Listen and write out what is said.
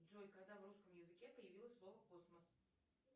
джой когда в русском языке появилось слово космос